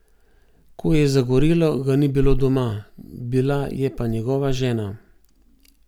Ko je zagorelo, ga ni bilo doma, bila je pa njegova žena.